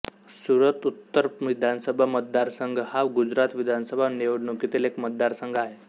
सुरत उत्तर विधानसभा मतदारसंघ हा गुजरात विधानसभा निवडणुकीतील एक मतदारसंघ आहे